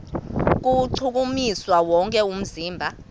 kuwuchukumisa wonke umzimba